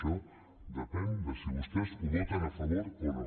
això depèn de si vostès ho voten a favor o no